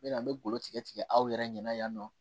N mɛna n be golo tigɛ tigɛ aw yɛrɛ ɲɛna yan nɔ